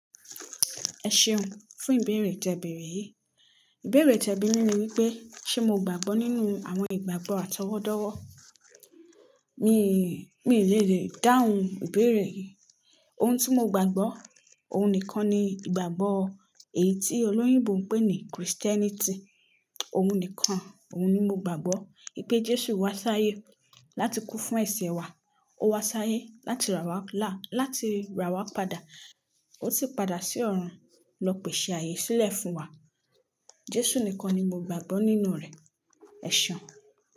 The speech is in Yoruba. Ẹ ṣeun fún ìbéèrè tẹ bèèrè yìí. Ìbéèrè tẹ bi mi lèèrè wípé ṣé mo gbàgbọ́ nínú àwọn ìgbàgbọ́ atọwọ́dọ́wọ́? Mi, mi ni lè dáhùn ìbéèrè yìí. Ohun tí mo gbàgbọ́, ohun nìkan ni ìgbàgbọ́ èyí tí olóyìnbo oùn pè ní Kirisitẹnitì. Ohun nìkan, òun ni mo gbàgbọ́. Wipé Jésù wá sáyé láti kú fún ẹ̀se wa. Ó wá sáyé láti rà wá lá, láti rà wá padà. Ó sì padà sí ọ̀run lọ pèsè ààyè sílẹ̀ fún wa. Jésù nìkan ni mo gbàgbọ́ nínú rẹ̀. Ẹ ṣeun.